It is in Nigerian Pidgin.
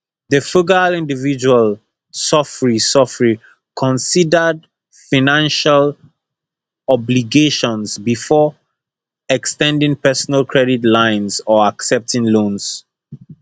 di frugal individual sofri sofri considered financial obligations before ex ten ding personal credit lines or accepting loans